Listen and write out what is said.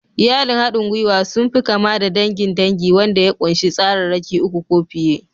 Iyalin haɗin gwiwa sun fi kama da dangin dangi wanda ya ƙunshi tsararraki uku ko fiye.